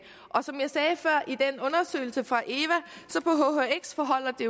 og som jeg sagde før i den undersøgelse fra eva forholder det